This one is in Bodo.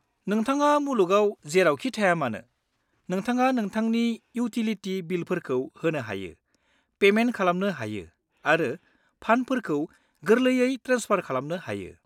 नोंथाङा मुलुगाव जेरावखि थाया मानो, नोंथाङा नोंथांनि इउटिलिटि बिलफोरखौ होनो हायो, पेमेन्ट खालामनो हायो आरो फान्डफोरखौ गोरलैयै ट्रेन्सफार खालामनो हायो।